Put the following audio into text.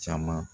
Caman